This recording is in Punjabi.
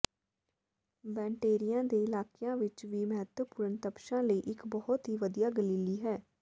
ਬੈਨਟੇਏਰੀਆ ਦੇ ਇਲਾਕਿਆਂ ਵਿਚ ਵੀ ਮਹੱਤਵਪੂਰਨ ਤਪਸ਼ਾਂ ਲਈ ਇਕ ਬਹੁਤ ਹੀ ਵਧੀਆ ਗਲੀਲੀ ਹੈ